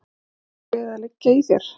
Voru mörg lið að liggja í þér?